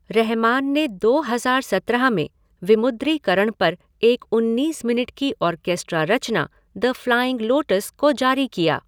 रहमान ने दो हज़ार सत्रह में विमुद्रीकरण पर एक उन्नीस मिनट की आर्केस्ट्रा रचना द फ़्लाइंग लोटस को जारी किया।